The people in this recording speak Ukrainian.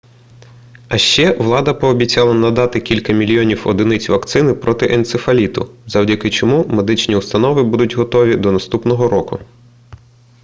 а ще влада пообіцяла надати кілька мільйонів одиниць вакцини проти енцефаліту завдяки чому медичні установи будуть готові до наступного року